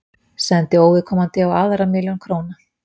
Sendi óviðkomandi á aðra milljón króna